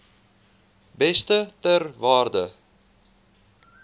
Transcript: beeste ter waarde